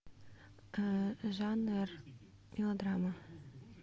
жанр мелодрама